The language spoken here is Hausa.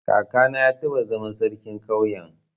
Kakana ya taba zama sarkin ƙauyen.